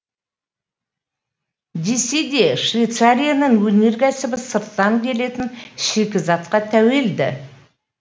десе де швейцарияның өнеркәсібі сырттан келетін шикізатқа тәуелді